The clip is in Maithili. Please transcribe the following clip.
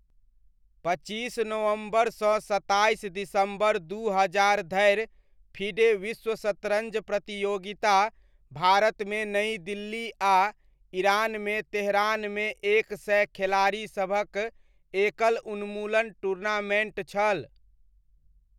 पच्चीस नवम्बरसँ सत्ताइस दिसम्बर दू हजार धरि फिडे विश्व शतरञ्ज प्रतियोगिता भारतमे नइ दिल्ली आ ईरानमे तेहरानमे एक सय खेलाड़ीसभक एकल उन्मूलन टूर्नामेण्ट छल।